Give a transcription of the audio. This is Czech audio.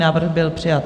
Návrh byl přijat.